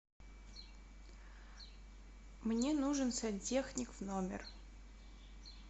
мне нужен сантехник в номер